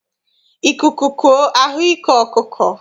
Ikuku kuo a hụ ike ọkụkọ.